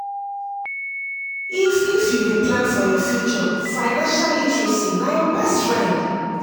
if iif you dey plan for yur future financial literacy na yur bestfwend